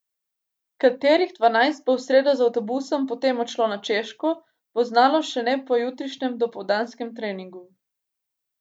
Katerih dvanajst bo v sredo z avtobusom potem odšlo na Češko, bo znano šele po jutrišnjem dopoldanskem treningu.